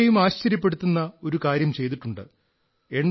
അദ്ദേഹം ആരെയും ആശ്ചര്യപ്പെടുത്തുന്ന ഒരു കാര്യം ചെയ്തിട്ടുണ്ട്